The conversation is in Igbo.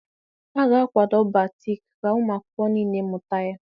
A ga-akwado Batik ka ụmụ akwụkwọ niile mụta ya